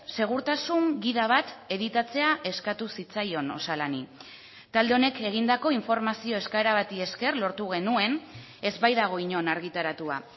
segurtasun gida bat editatzea eskatu zitzaion osalani talde honek egindako informazio eskaera bati esker lortu genuen ez baitago inon argitaratua